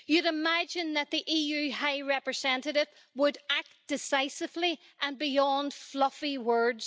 You would imagine that the EU High Representative would act decisively and go beyond fluffy words.